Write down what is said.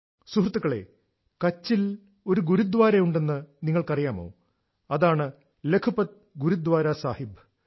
സുഹൃത്തുക്കളേ കച്ചിൽ ഒരു ഗുരുദ്വാര ഉണ്ടെന്ന് നിങ്ങൾക്കറിയാമോഅതാണ് ലഖ്പത് ഗുരുദ്വാര സാഹിബ്